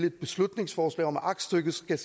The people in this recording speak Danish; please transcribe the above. et beslutningsforslag om at aktstykket skal